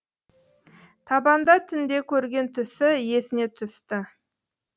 табанда түнде көрген түсі есіне түсті